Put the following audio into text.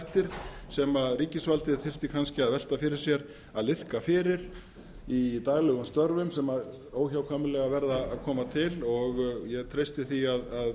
nokkrir þættir sem ríkisvaldið þyrfti kannski að velta fyrir sér að liðka fyrir í daglegum störfum sem óhjákvæmilega verða að koma til og ég treysti því að